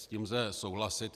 S tím lze souhlasit.